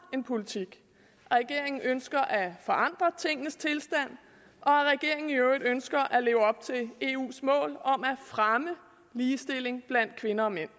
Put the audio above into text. en politik regeringen ønsker at forandre tingenes tilstand og regeringen ønsker at leve op til eus mål om at fremme ligestilling blandt kvinder og mænd